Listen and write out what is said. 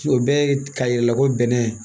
O bɛɛ ye k'a yira ko bɛnɛ